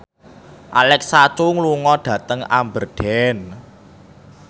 Alexa Chung lunga dhateng Aberdeen